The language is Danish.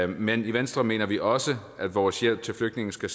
men i venstre mener vi også at vores hjælp til flygtninge skal